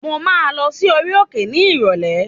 Mo máa lọ sí orí òkè ní ìrọ̀lẹ́